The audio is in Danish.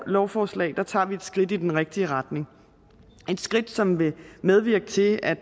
lovforslag tager vi et skridt i den rigtige retning et skridt som vil medvirke til at